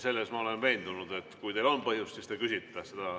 Selles ma olen veendunud, et kui teil on põhjust, siis te küsite.